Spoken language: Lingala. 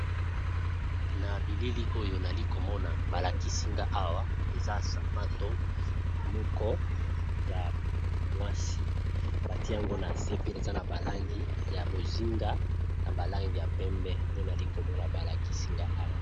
Na bilili oyo, nali komona balakisinga awa, eza sapato moko ya mwasi, pati yango eza na se. Pe eza na balangi ya bozinga, na balangi ya pembe, nde nali komona balakisi nga awa.